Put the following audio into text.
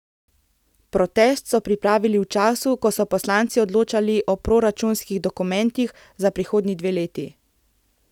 Protest so pripravili v času, ko so poslanci odločali o proračunskih dokumentih za prihodnji dve leti.